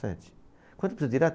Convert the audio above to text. Sete. Quanto que eu preciso tirar?